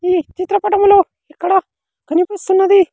ఈ చిత్ర పటములో ఇక్కడ కనిపిస్తున్నది.